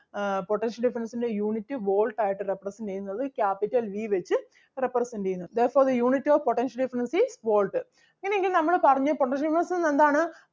ആഹ് potential difference ൻ്റെ unit volt ആയിട്ട് represent ചെയ്യുന്നത്. Capital V വെച്ച് represent ചെയ്യുന്നു. Therefore the unit of potential difference is volt ഇനി എങ്കിൽ നമ്മള് പറഞ്ഞു potential difference എന്ന് പറഞ്ഞാൽ എന്താണ്